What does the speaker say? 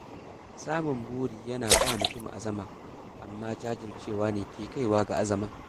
Samun buri yana ba mutum azama, amma jajircewa ne ke kaiwa ga nasara.